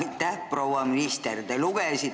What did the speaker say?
Aitäh, proua minister!